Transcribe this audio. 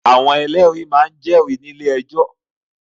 Àwọn ẹlẹ́rìí máa ń jẹ́rìí ní ilé-ẹjọ́.